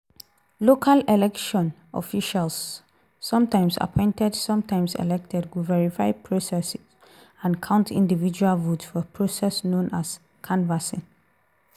local election officials - sometimes appointed sometimes elected - go verify process and count individual votes for process known as canvassing.